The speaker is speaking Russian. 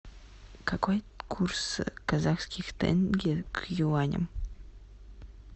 какой курс казахских тенге к юаням